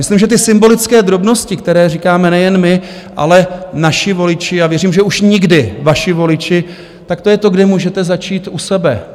Myslím, že ty symbolické drobnosti, které říkáme nejen my, ale naši voliči, a věřím, že už nikdy vaši voliči, tak to je to, kde můžete začít u sebe.